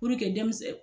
denmisɛn